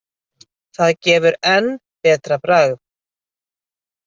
Það gefur enn betra bragð.